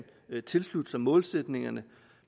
tilslutte sig målsætningerne